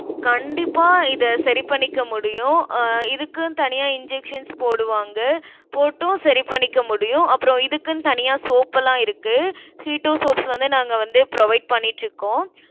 கண்டிப்பா, இதை சரி பண்ணிக்க முடியும். அஹ் இதுக்குன்னு தனியா injections போடுவாங்க. போட்டும், சரி பண்ணிக்க முடியும். அப்புறம், இதுக்குன்னு தனியா soap எல்லாம் இருக்கு keto soap ன்னு வந்து, நாங்க வந்து, provide பண்ணிட்டிருக்கோம்.